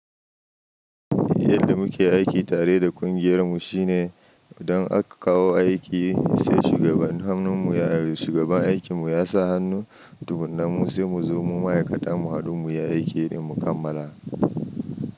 Yadda muke aiki tare da ƙungiyar mu shine idan aka kawo aiki sai shugaban hannun mu ya shugaban aikin mu ya sa hannu, tukuna mu sai mu zo mu ma'aikata mu hudu mu yi aikin din mu kammala.